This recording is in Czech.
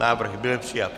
Návrh byl přijat.